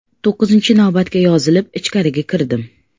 To‘qqizinchi navbatga yozilib, ichkariga kirdim.